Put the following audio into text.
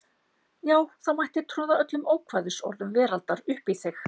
Já þá mætti troða öllum ókvæðisorðum veraldar uppí þig.